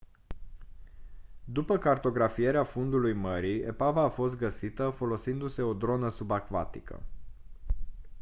după cartografierea fundului mării epava a fost găsită folosindu-se o dronă subacvatică